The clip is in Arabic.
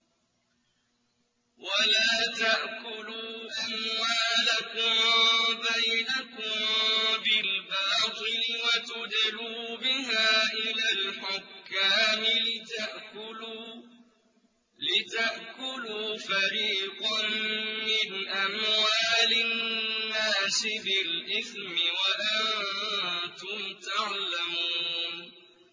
وَلَا تَأْكُلُوا أَمْوَالَكُم بَيْنَكُم بِالْبَاطِلِ وَتُدْلُوا بِهَا إِلَى الْحُكَّامِ لِتَأْكُلُوا فَرِيقًا مِّنْ أَمْوَالِ النَّاسِ بِالْإِثْمِ وَأَنتُمْ تَعْلَمُونَ